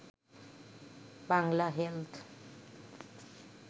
Bangla health